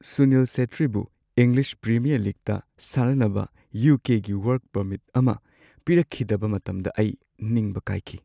ꯁꯨꯅꯤꯜ ꯁꯦꯠꯇ꯭ꯔꯤꯕꯨ English premier ꯂꯤꯒꯇ ꯁꯥꯟꯅꯅꯕ ꯌꯨ. ꯀꯦ. ꯒꯤ ꯋꯔꯛ ꯄꯔꯃꯤꯠ ꯑꯃ ꯄꯤꯔꯛꯈꯤꯗꯕ ꯃꯇꯝꯗ ꯑꯩ ꯅꯤꯡꯕ ꯀꯥꯏꯈꯤ꯫